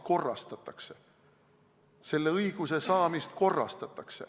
Selle õiguse saamist korrastatakse.